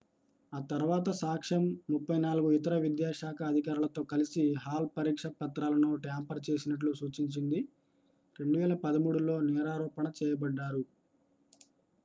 ఆ తర్వాత సాక్ష్యం 34 ఇతర విద్యాశాఖ అధికారులతో కలిసి హాల్ పరీక్షపత్రాలను ట్యాంపర్ చేసినట్లు సూచించింది 2013లో నేరారోపణ చేయబడ్డారు